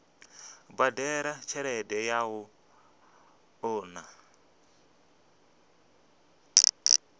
badela tshelede ya u unḓa